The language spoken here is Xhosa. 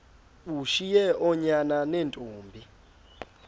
ushiye oonyana neentombi